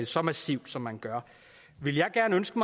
så massivt som man gør ville jeg ønske